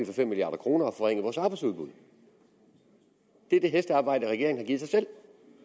fem milliard kroner og forringet vores arbejdsudbud det er det hestearbejde regeringen har givet sig selv